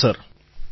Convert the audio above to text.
પ્રધાનમંત્રી કહો